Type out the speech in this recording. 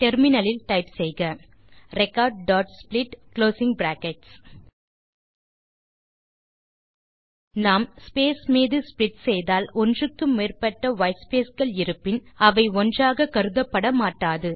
terminal ல் type செய்க recordsplit நாம் ஸ்பேஸ் மீது ஸ்ப்ளிட் செய்தால் ஒன்றுக்கு மேற்பட்ட வைட்ஸ்பேஸ் கள் இருப்பின் அவை ஒன்றாக கருதப்பட மாட்டாது